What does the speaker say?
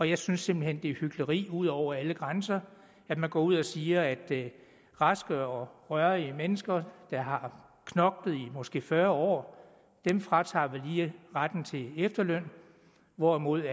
jeg synes simpelt hen det er hykleri ud over alle grænser at man går ud og siger at raske og rørige mennesker der har knoklet i måske fyrre år fratager vi lige retten til efterløn hvorimod